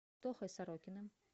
тохой сорокиным